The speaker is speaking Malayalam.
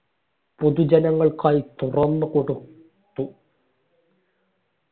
പൊതു ജനങ്ങൾക്കായി തുറന്നു കൊട് ത്തു